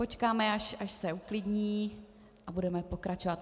Počkáme, až se uklidní a budeme pokračovat.